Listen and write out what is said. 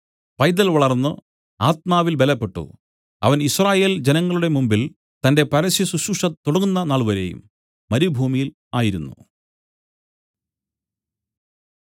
പൈതൽ വളർന്ന് ആത്മാവിൽ ബലപ്പെട്ടു അവൻ യിസ്രായേൽ ജനങ്ങളുടെ മുൻപിൽ തന്റെ പരസ്യശുശ്രൂഷ തുടങ്ങുന്ന നാൾവരെയും മരുഭൂമിയിൽ ആയിരുന്നു